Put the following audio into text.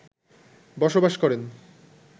বসবাস করেন